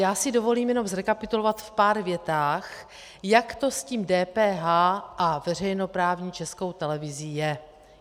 Já si dovolím jenom zrekapitulovat v pár větách, jak to s tím DPH a veřejnoprávní Českou televizí je.